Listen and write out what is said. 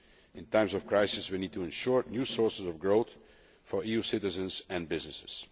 In times of crisis we need to ensure new sources of growth for EU citizens and businesses.